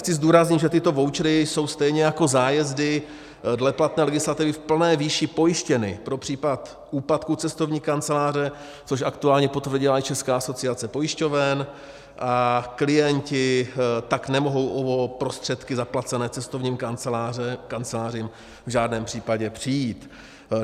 Chci zdůraznit, že tyto vouchery jsou stejně jako zájezdy dle platné legislativy v plné výši pojištěny pro případ úpadku cestovní kanceláře, což aktuálně potvrdila i Česká asociace pojišťoven, a klienti tak nemohou o prostředky zaplacené cestovním kancelářím v žádném případě přijít.